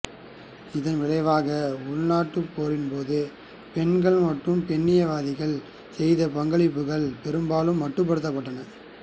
இதன் விளைவாக உள்நாட்டுப் போரின்போது பெண்கள் மற்றும் பெண்ணியவாதிகள் செய்த பங்களிப்புகள் பெரும்பாலும் மட்டுப்படுத்தப்பட்டன